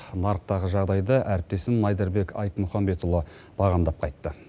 нарықтағы жағдайды әріптесім майдарбек айтмахамбетұлы бағыңдап қайтты